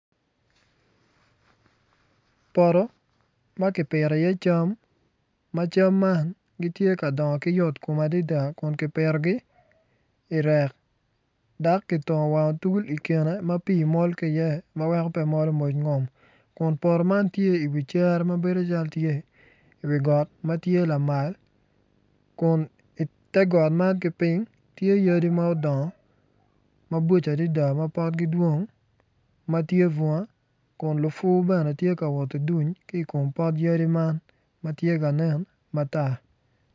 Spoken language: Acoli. Poto ma kipito iye cam ma cam man gitye ka dongo ki yotkom adada kun kipitogi irek dok kitongo wang otul i kine ma pii mol ki iye ma weko molo mpc ngom kun poto man tye iwi cere ma bedo calo tye iwi got ma tye lamal kun ite got man ki piny tye yadi ma odongo mabocco adada ma potgi dwong ma tye bunga kun lupu bene tye ka woti duny ki i kom pot yadi man ma tye ka nen matar.